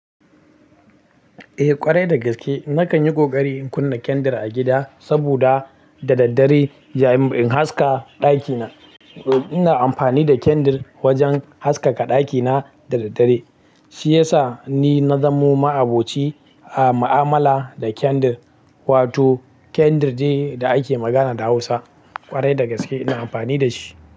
Eh ƙwarai dagaske nakan yi ƙoƙari in kunna kendir a gida saboda da daddare yayin in haska ɗakina. Ina amfani da kendir wajen haskaka ɗakina da daddare shiyasa ni na zamo ma'aboci a ma'amala da kendir, wato kendir dai da ake magana da hausa ƙwarai dagaske ina amfani da shi.